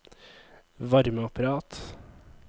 varmeapparat